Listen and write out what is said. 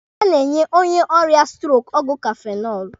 A na-enye onye ọrịa stroko ọgwụ kafenọlụ.